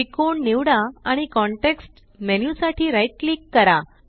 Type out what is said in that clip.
त्रिकोण निवडा आणि कॉन्टेक्स्ट मेन्यू साठी राइट क्लिक करा